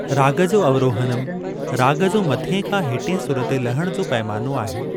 राग जो अवरोहनम, राग जो मथिएं खां हेठिएं सुर ते लहण जो पैमानो आहे।